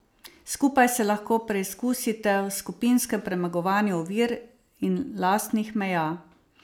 Skupaj se lahko preizkusite v skupinskem premagovanju ovir in lastnih meja.